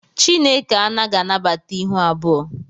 Chineke anaghị anabata ịhụ abụọ